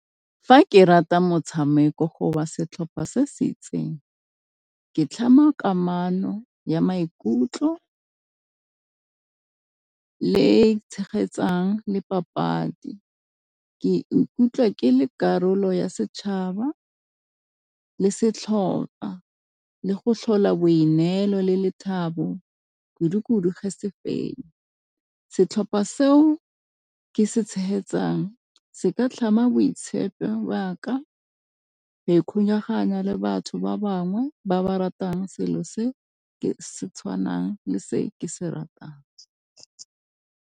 Fa ke rata motshameko setlhopha se se itseng ke tlhama kamano ya maikutlo le tshegetsang le papadi ke ikutlwa ke le karolo ya setšhaba le setlhopa le go tlhola boineelo le lethabo kudu-kudu ge se fenya. Setlhopha seo ke se tshegetsang se ka tlhama boitshepi ba ka le batho ba bangwe ba ba ratang selo se tshwanang le se ke se ratang.